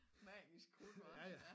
Magisk krudt hvad ja